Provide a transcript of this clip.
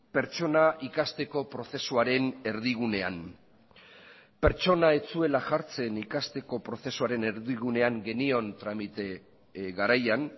pertsona ikasteko prozesuaren erdigunean pertsona ez zuela jartzen ikasteko prozesuaren erdigunean genion tramite garaian